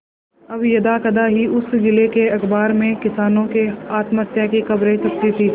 अब यदाकदा ही उस जिले के अखबार में किसानों के आत्महत्या की खबरें छपती थी